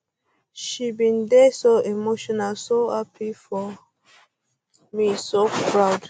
she bin dey so emotional so um happy for um me so proud